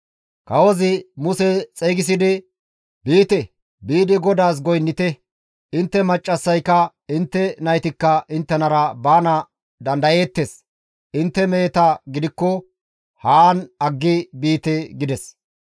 Kawozi Muse xeygisidi, «Biite; biidi GODAAS goynnite; intte maccassayka intte naytikka inttenara baana dandayeettes. Intte meheta gidikko haan aggi biite» gides.